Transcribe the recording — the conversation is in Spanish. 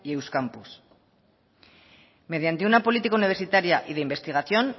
euskampus mediante una política universitaria y de investigación